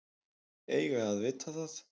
Eiga að vita það.